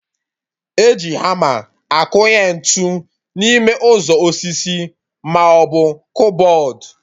E ji hama akụnye ntụ n'ime ụzọ osisi maọbụ kụbọd